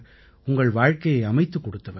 உங்கள் வாழ்க்கையை அமைத்துக் கொடுத்தவர்